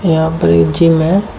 यहां पर एक जिम हैं।